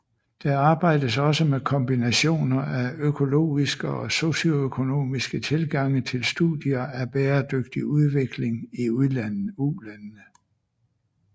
Der arbejdes også med kombinationer af økologiske og socioøkonomiske tilgange til studier af bæredygtig udvikling i ulandene